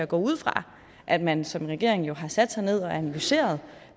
går ud fra at man som regering har sat sig ned og analyseret